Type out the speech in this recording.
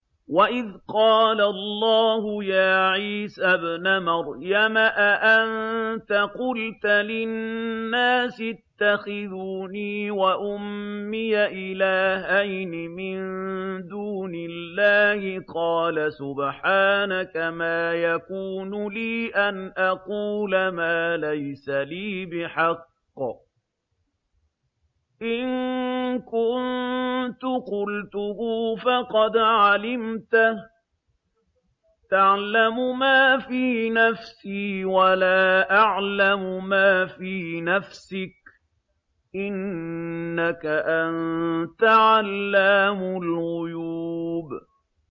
وَإِذْ قَالَ اللَّهُ يَا عِيسَى ابْنَ مَرْيَمَ أَأَنتَ قُلْتَ لِلنَّاسِ اتَّخِذُونِي وَأُمِّيَ إِلَٰهَيْنِ مِن دُونِ اللَّهِ ۖ قَالَ سُبْحَانَكَ مَا يَكُونُ لِي أَنْ أَقُولَ مَا لَيْسَ لِي بِحَقٍّ ۚ إِن كُنتُ قُلْتُهُ فَقَدْ عَلِمْتَهُ ۚ تَعْلَمُ مَا فِي نَفْسِي وَلَا أَعْلَمُ مَا فِي نَفْسِكَ ۚ إِنَّكَ أَنتَ عَلَّامُ الْغُيُوبِ